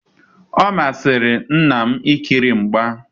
Omasiri nna m i ikiri mgba.